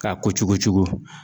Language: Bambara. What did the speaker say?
K'a kucukucu.